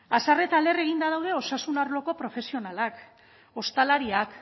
haserre eta lehen eginda daude osasun arloko profesionalak ostalariak